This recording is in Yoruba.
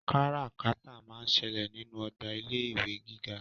Kárà-kátà máá ń ṣẹlẹ̀ nínú ọgbà ilé-ìwé gíga.